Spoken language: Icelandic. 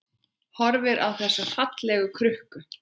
Horfir á þessa fallegu krukku.